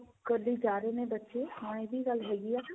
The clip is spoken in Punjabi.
ਕਰਦੇ ਜਾ ਰਹੇ ਨੇ ਬੱਚੇ ਹਾਂ ਇਹ ਵੀ ਗੱਲ ਹੈਗੀ ਆ